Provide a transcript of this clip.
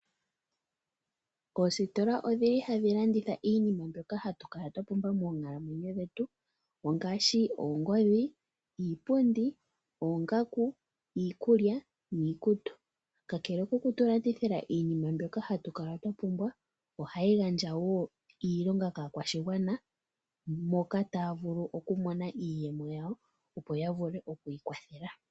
Oositola odhili hadhi landitha iinima mbyoka hatu kala twa pumbwa moonkalamwenyo dhetu ngaashi oongodhi, iipundi, oongaku, iikulya niikutu kakele ku tu landithila iinima mbyoka hatu kala twa pumbwa ohayi gandja iilonga kaakwashigwana moka taya vulu okumona iiyemo yawo opo ya vule oku ikwathela.